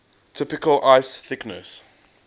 typical ice thickness